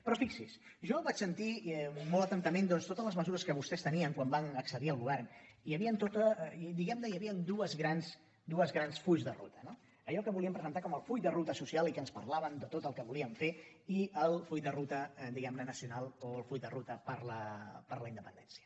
però fixi’s jo vaig sentir molt atentament totes les mesures que vostès tenien quan van accedir al govern i hi havia dos grans fulls de ruta no allò que volíem presentar com el full de ruta social i que ens parlaven de tot el que volien fer i el full de ruta diguem ne nacional o el full de ruta per la independència